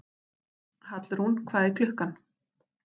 Hallrún, hvað er klukkan?